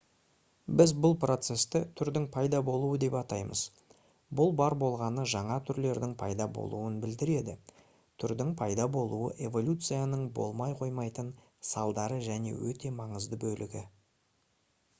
біз бұл процесті түрдің пайда болуы деп атаймыз бұл бар болғаны жаңа түрлердің пайда болуын білдіреді түрдің пайда болуы эволюцияның болмай қоймайтын салдары және өте маңызды бөлігі